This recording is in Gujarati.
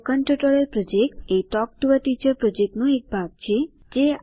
સ્પોકન ટ્યુટોરિયલ પ્રોજેક્ટ એ ટોક ટુ અ ટીચર પ્રોજેક્ટનો એક ભાગ છે